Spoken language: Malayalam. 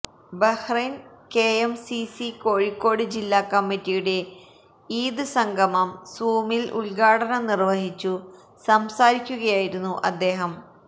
ബഹ്റൈൻ കെഎംസിസി കോഴിക്കോട് ജില്ലാ കമ്മിറ്റിയുടെ ഈദ് സംഗമം സൂമിൽ ഉദ്ഘാടനം നിർവഹിച്ചു സംസാരിക്കുകയായിരുന്നു അദ്ദേഹം